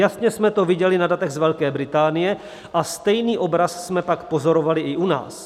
Jasně jsme to viděli na datech z Velké Británie a stejný obraz jsme pak pozorovali i u nás.